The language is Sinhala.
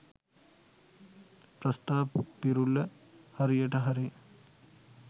ප්‍රස්තාපිරුළ හරියට හරි